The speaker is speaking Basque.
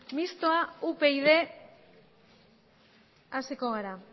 mistoa upyd hasiko gara